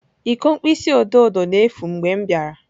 Iko mkpịsị odo odo na-efu mgbe m bịara.